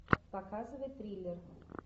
показывай триллер